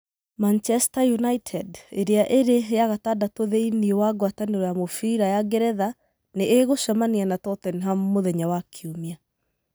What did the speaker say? Manchester United, ĩrĩa ĩrĩ ya gatandatũ thĩiniĩ wa gwatanĩro ya mũbira ya Ngeretha, nĩ ĩgũcemania na Tottenham mũthenya wa Kiumia.